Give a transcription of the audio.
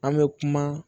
An bɛ kuma